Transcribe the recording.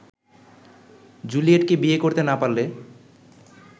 জুলিয়েটকে বিয়ে করতে না পারলে